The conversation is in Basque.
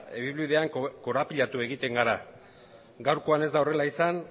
ibilbidean korapilatu egiten gara gaurkoan ez da horrela izan